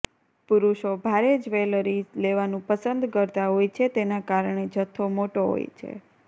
પુરુષો ભારે જ્વેલરી લેવાનું પસંદ કરતા હોય છે તેના કારણે જથ્થો મોટો હોય છે